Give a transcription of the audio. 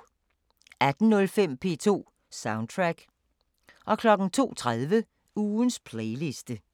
18:05: P2 Soundtrack 02:30: Ugens playliste